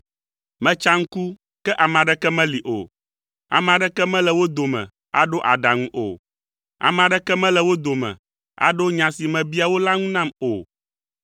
Metsa ŋku, ke ame aɖeke meli o, ame aɖeke mele wo dome aɖo aɖaŋu o. Ame aɖeke mele wo dome aɖo nya si mebia wo la ŋu nam o.